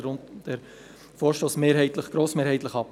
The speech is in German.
Deshalb lehnen wir diesen Vorstoss grossmehrheitlich ab.